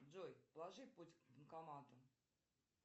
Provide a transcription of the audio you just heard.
джой положи путь к банкомату